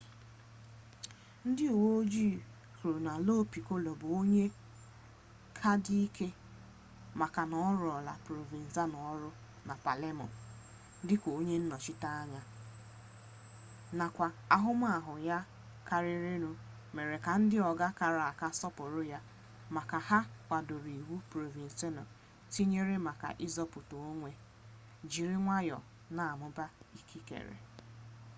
ndị uwe ojii kwuru na lo pikolo bụ onye ka dị ike maka na ọ rụọrọla provenzano ọrụ na palemo dị ka onye nnọchiteanya nakwa ahụmahụ ya karịrịnụ mere ka ndị ọga kara aka sọpụrụ ya maka ha kwadoro iwu provenzano tinyere maka izopu onwe jiri nwayọọ na-amụba ikikere